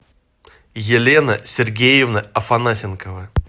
елена сергеевна афанасенкова